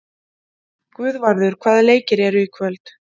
Guðvarður, hvaða leikir eru í kvöld?